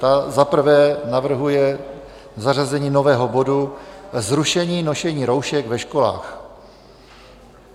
Ta za prvé navrhuje zařazení nového bodu Zrušení nošení roušek ve školách.